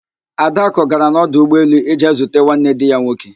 Adakụ gara n'ọdụ ụgbọelu ije zute nwanne di ya nwoke